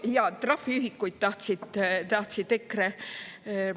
Jaa, trahviühikuid tahtsid EKRE …